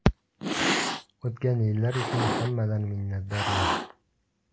O‘tgan yillar uchun hammadan minnatdorman.